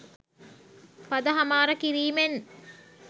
පද හමාර කිරීමෙන්